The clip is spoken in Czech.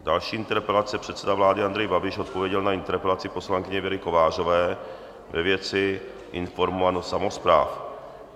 Další interpelace - předseda vlády Andrej Babiš odpověděl na interpelaci poslankyně Věry Kovářové ve věci informovanost samospráv.